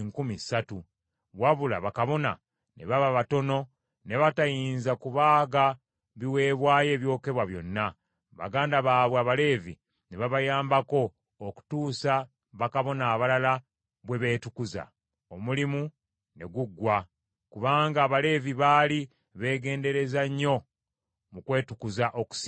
Wabula bakabona ne baba batono ne batayinza kubaaga biweebwayo ebyokebwa byonna, baganda baabwe Abaleevi ne babayambako okutuusa bakabona abalala bwe beetukuza; omulimu ne guggwa, kubanga Abaleevi baali beegendereza nnyo mu kwetukuza okusinga bakabona.